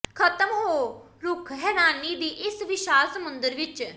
ਖਤਮ ਹੋ ਰੁੱਖ ਹੈਰਾਨੀ ਦੀ ਇਸ ਵਿਸ਼ਾਲ ਸਮੁੰਦਰ ਵਿੱਚ